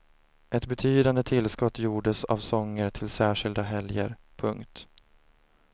Ett betydande tillskott gjordes av sånger till särskilda helger. punkt